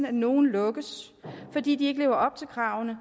at nogle lukkes fordi de ikke lever op til kravene